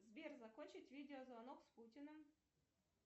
сбер закончить видеозвонок с путиным